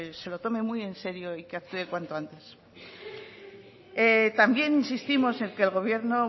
se lo tome muy enserio y que hace cuanto antes también insistimos en que el gobierno